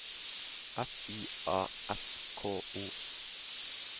F I A S K O